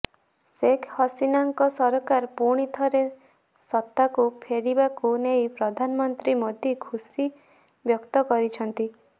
ଶେଖ୍ ହସିନାଙ୍କ ସରକାର ପୁଣିଥରେ ସତ୍ତାକୁ ଫେରିବାକୁ ନେଇ ପ୍ରଧାନମନ୍ତ୍ରୀ ମୋଦି ଖୁସି ବ୍ୟକ୍ତ କରିଛନ୍ତି